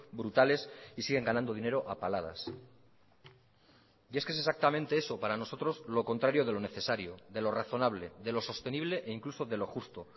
brutales y siguen ganando dinero a paladas y es que es exactamente eso para nosotros lo contrario de lo necesario de lo razonable de lo sostenible e incluso de lo justo